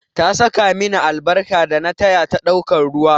Ta saka mini albarka dana taya ta ɗaukan ruwa